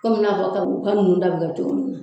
Komi i n'a fɔ ta kabugu ninnu ta bɛ cogo min na.